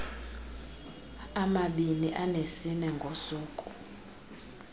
amabini anesine ngosuku